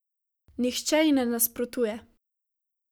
Nihče ji ne nasprotuje.